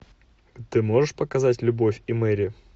ты можешь показать любовь и мэри